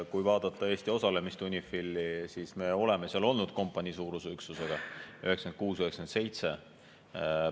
Kui vaadata Eesti osalemist UNIFIL-is, siis me oleme seal olnud kompaniisuuruse üksusega aastatel 1996 ja 1997.